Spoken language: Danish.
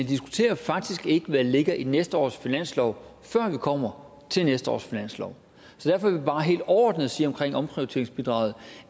diskuterer faktisk ikke hvad der ligger i næste års finanslov før vi kommer til næste års finanslov så derfor vil bare helt overordnet sige om omprioriteringsbidraget